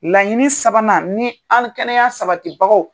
Laɲini sabanan ni ani kɛnɛya sabatibagaw